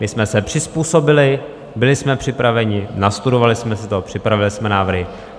My jsme se přizpůsobili, byli jsme připraveni, nastudovali jsme si to, připravili jsme návrhy.